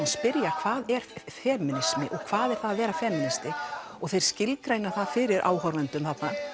spyrja hvað er femínismi og hvað er það að vera femínisti og þeir skilgreina það fyrir áhorfendum